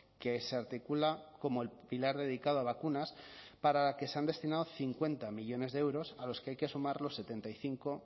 que se articula como el pilar dedicado a vacunas para la que se han destinado cincuenta millónes de euros a los que hay que sumar los setenta y cinco